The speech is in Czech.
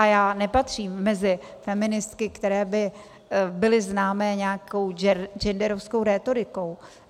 A já nepatřím mezi feministky, které by byly známé nějakou genderovou rétorikou.